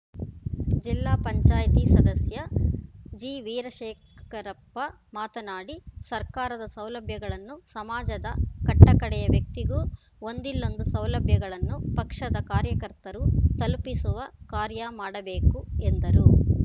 ಜಿಲ್ಲಾ ಪಂಚಾಯತಿ ಸದಸ್ಯ ಜಿವೀರಶೇಖರಪ್ಪ ಮಾತನಾಡಿ ಸರ್ಕಾರದ ಸೌಲಭ್ಯಗಳನ್ನು ಸಮಾಜದ ಕಟ್ಟಕಡೆಯ ವ್ಯಕ್ತಿಗೂ ಒಂದಿಲ್ಲೊಂದು ಸೌಲಭ್ಯಗಳನ್ನು ಪಕ್ಷದ ಕಾರ್ಯಕರ್ತರು ತಲುಪಿಸುವ ಕಾರ್ಯ ಮಾಡಬೇಕು ಎಂದರು